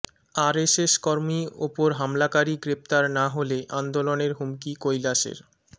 RSS কর্মী ওপর হামলাকারী গ্রেফতার না হলে আন্দোলনের হুমকি কৈলাসের